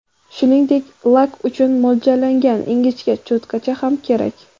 Shuningdek, lak uchun mo‘ljallangan ingichka cho‘tkacha ham kerak.